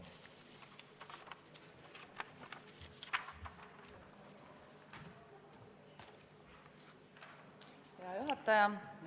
Hea juhataja!